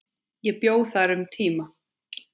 Ég bjó þar um tíma.